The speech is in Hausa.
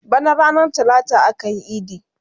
Bana ranar talata akayi idi